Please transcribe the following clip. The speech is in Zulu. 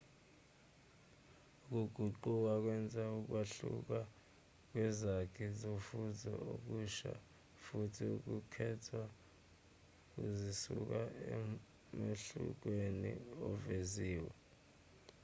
ukuguquka kwenza ukwahluka kwezakhi zofuzo okusha futhi ukukhetha kuzisusa emehlukweni oveziwe